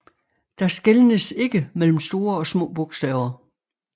Der skelnes ikke mellem store og små bogstaver